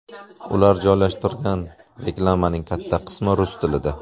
Ular joylashtirgan reklamaning katta qismi rus tilida.